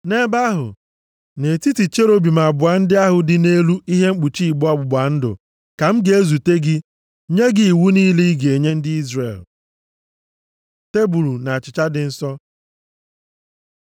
Nʼebe ahụ, nʼetiti cherubim abụọ ndị ahụ dị nʼelu ihe mkpuchi igbe ọgbụgba ndụ, ka m ga-ezute gị, nye gị iwu niile ị ga-enye ndị Izrel. Tebul na achịcha dị nsọ.